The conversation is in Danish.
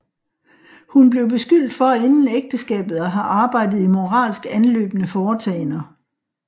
Hun blev beskyldt for inden ægteskabet at have arbejdet i moralsk anløbne foretagender